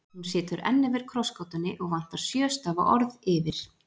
Hún situr enn yfir krossgátunni og vantar sjö stafa orð yfir